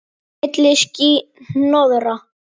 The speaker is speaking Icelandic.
Milli ský- hnoðra.